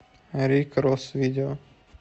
рик рос видео